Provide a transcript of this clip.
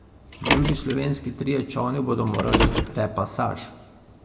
Drugi slovenski trije čolni bodo morali v repasaž.